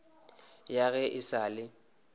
ya ge e sa le